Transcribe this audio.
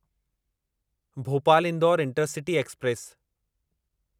Bhopal Indore intercity express